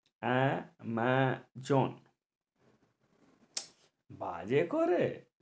আ মা জন বাজে করে